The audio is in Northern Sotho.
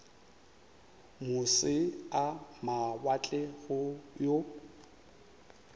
moše a mawatle go yo